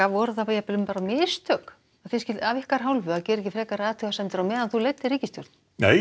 voru það mistök af þinni hálfu að gera ekki frekari athugasemdir nei